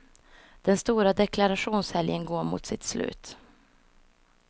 Den stora deklarationshelgen går mot sitt slut.